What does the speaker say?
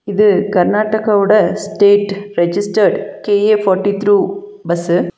இது கர்நாடகா ஓட state registered K A forty three bus .